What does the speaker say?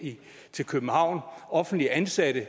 til københavn offentligt ansatte i